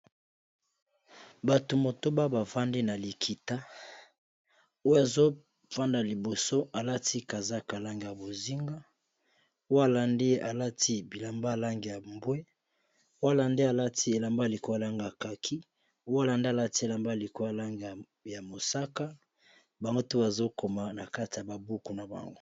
Bato motoba bafandi na likita. oyo azofanda liboso alati kazaka langi ya bozinga, oyo alandi ye alati bilamba langi ya mbwe, Oyo alandi alati elamba likolo langi ya kaki, oyo alandi alati elamba likolo ya langi ya mosaka, bango tout bazokoma na kati ya babuku na bango.